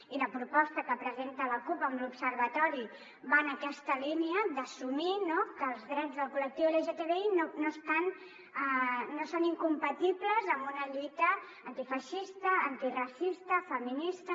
i la proposta que presenta la cup amb l’observatori va en aquesta línia d’assumir no que els drets del col·lectiu lgtbi no són incompatibles amb una lluita antifeixista antiracista feminista